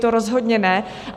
To rozhodně ne.